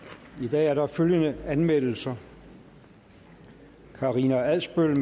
er der følgende anmeldelser karina adsbøl